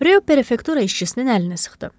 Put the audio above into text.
Röyo prefektura işçisinin əlini sıxdı.